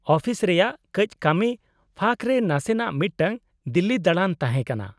-Office ᱨᱮᱭᱟᱜ ᱠᱟᱹᱪ ᱠᱟᱹᱢᱤ ᱯᱷᱟᱸᱠ ᱨᱮ ᱱᱟᱥᱮᱱᱟᱜ ᱢᱤᱫᱴᱟᱝ ᱫᱤᱞᱞᱤ ᱫᱟᱬᱟᱱ ᱛᱟᱦᱮᱸ ᱠᱟᱱᱟ ᱾